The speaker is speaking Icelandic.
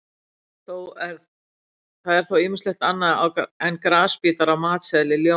Það er þó ýmislegt annað en grasbítar á matseðli ljóna.